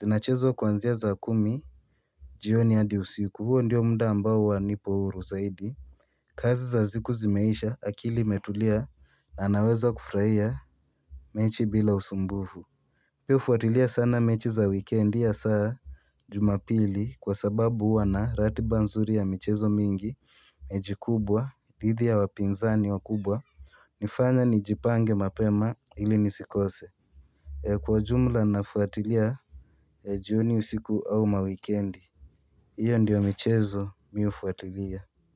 Zinachezwa kuanzia saa kumi jioni hadi usiku huo ndiyo muda ambao huwa nipo huru zaidi kazi za siku zimeisha akili imetulia na naweza kufurahia mechi bila usumbufu mihufuatilia sana mechi za wikendi ya saa Jumapili kwa sababu huwa na ratiba nzuri ya michezo mingi mechi kubwa dhidi ya wapinzani wakubwa nifanya nijipange mapema ili nisikose kwa jumla nafuatilia jioni usiku au mawikendi Iyo ndiyo michezo mihufuatilia.